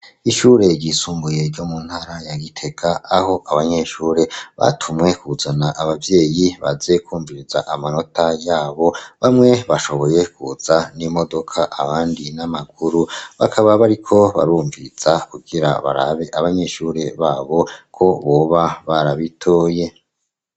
Ishure ryisumbuye ryo mu ntara ya giteka aho abanyeshure batumwe kuzana abavyeyi baze kwumviriza amanota yabo bamwe bashoboye kuza n'imodoka abandi n'amaguru, bakaba bari ko barumviza kugira barabe abanyeshure babo ko boba barabitoye.